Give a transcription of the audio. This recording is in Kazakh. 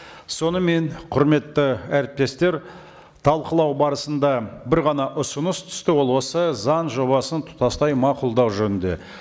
сонымен құрметті әріптестер талқылау барысында бір ғана ұсыныс түсті ол осы заң жобасын тұтастай мақұлдау жөнінде